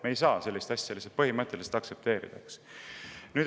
Me ei saa sellist asja põhimõtteliselt aktsepteerida.